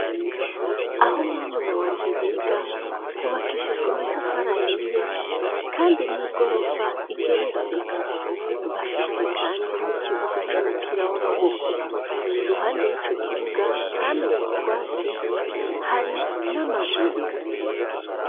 Aho muri umuna wanje yiga hubakishijwe amatafarahiye, kandi n'igorofa igeretse bafise, kandi n'ikibuga c'umupira w'amaboko iruhande y'i co kibuga hameze utwatsi hari n'amabuye.